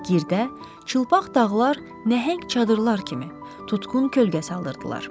Girdə, çılpaq dağlar nəhəng çadırlar kimi tutqun kölgə salırdılar.